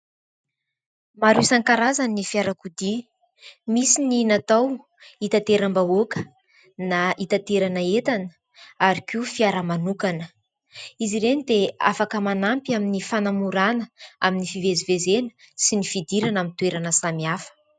Maro isankarazany ny fiarakodia, misy ny natao hitateram-bahoaka na hitaterana entana ary koa fiara manokana, izy ireny dia afaka manampy amin'ny fanamorana amin'ny fivezivezena sy ny fidirana amin'ny toerana samihafa.